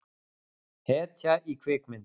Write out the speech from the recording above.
Hetja í kvikmynd.